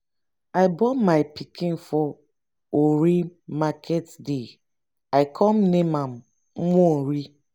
i born my pikin for orie market day i come name am nworie.